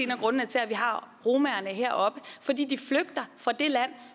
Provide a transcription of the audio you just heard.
grundene til at vi har romaerne heroppe fordi de flygter fra det land